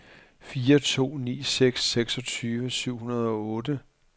fire to ni seks seksogtyve syv hundrede og otte